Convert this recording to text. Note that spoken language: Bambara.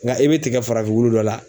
Nka i bɛ tigɛ farafin wulu dɔ la.